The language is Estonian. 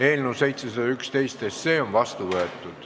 Eelnõu 711 on seadusena vastu võetud.